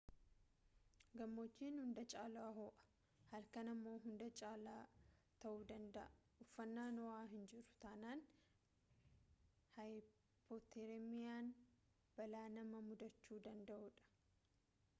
gammojjiin hunda caala ho'u halkran ammoo hunda caalaa ta'uu danda'a uffannaan ho'u hinjiru taanaan haayipooteermiyaan balaa nama mudachuu danada'udha